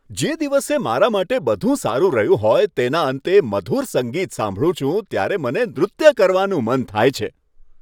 જે દિવસે મારા માટે બધું સારું રહ્યું હોય તેના અંતે મધુર સંગીત સાંભળું છું ત્યારે મને નૃત્ય કરવાનું મન થાય છે.